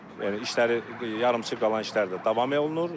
Yəni işləri yarıçıq qalan işlərdir davam olunur.